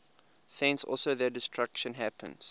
thence also their destruction happens